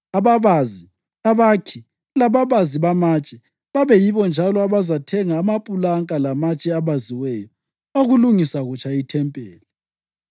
ababazi, abakhi, lababazi bamatshe. Babe yibo njalo abazathenga amapulanka lamatshe abaziweyo okulungisa kutsha ithempeli.